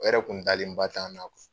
O yɛrɛ kun dalenba t'an na